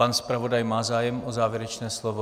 Pan zpravodaj má zájem o závěrečné slovo?